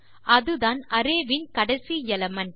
அதுதான் அரேவில் கடைசி எலிமெண்ட்